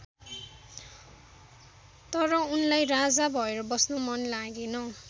तर उनलाई राजा भएर बस्न मन लागेन।